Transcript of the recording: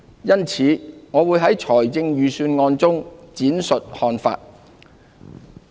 因此，我會在預算案中闡述看法。